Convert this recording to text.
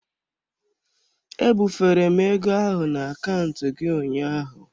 Ebufere m ego ahụ na akaụntụ gị ụnyaahụ.